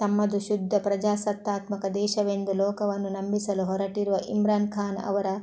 ತಮ್ಮದು ಶುದ್ಧ ಪ್ರಜಾಸತ್ತಾತ್ಮಕ ದೇಶವೆಂದು ಲೋಕವನ್ನು ನಂಬಿಸಲು ಹೊರಟಿರುವ ಇಮ್ರಾನ್ ಖಾನ್ ಅವರ